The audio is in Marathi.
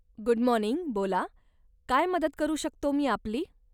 गुड मॉर्निंग, बोला, काय मदत करू शकतो मी आपली?